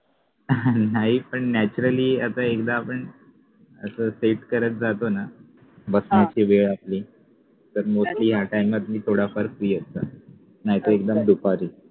नाही पण naturally आता एकदा आपण असं set करत जातो ना बसण्याची वेळ आपली तर mostlytime आत मी थोडाफार free असतो नाहीतर एकदम दुपारी